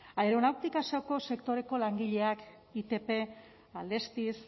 aeronautika sektoreko langileak itp alestis